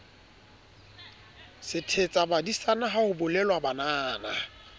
sethetsabadisana ha ho bolelwa banana